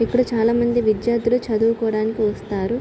ఇక్కడ చాల మంది విద్యార్దులు చదువుకోడానికి వస్తారు.